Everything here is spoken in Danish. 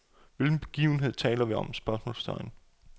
Hvilken begivenhed taler vi om? spørgsmålstegn